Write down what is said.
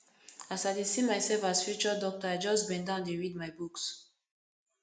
as i dey see myself as future doctor i just bendown dey read my books